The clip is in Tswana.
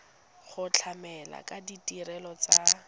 go tlamela ka ditirelo tsa